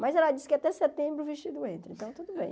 Mas ela disse que até setembro o vestido entra, então tudo bem.